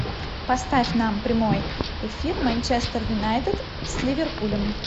поставь нам прямой эфир манчестер юнайтед с ливерпулем